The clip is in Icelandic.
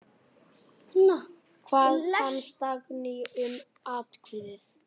Hvað fannst Dagný um atvikið?